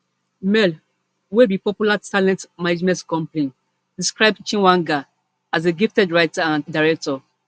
mla wey be popular talent management company describe chweneyagae as a gifted writer and director